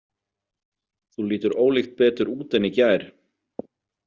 Þú lítur ólíkt betur út en í gær.